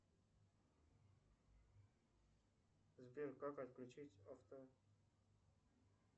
сбер как отключить авто